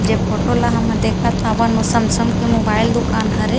जे फोटो ला हमन देखत हावन ओ सैमसंग के दूकान हरे।